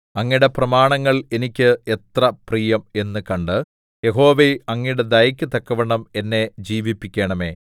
അങ്ങയുടെ പ്രമാണങ്ങൾ എനിക്ക് എത്ര പ്രിയം എന്നു കണ്ട് യഹോവേ അങ്ങയുടെ ദയയ്ക്കു തക്കവണ്ണം എന്നെ ജീവിപ്പിക്കണമേ